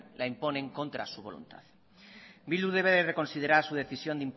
la imponen contra su voluntad bildu debe reconsiderar su decisión